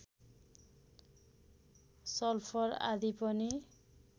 sulphur आदि पनि